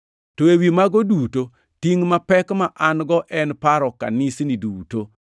To ewi mago duto, tingʼ mapek ma an-go en paro kanisni duto.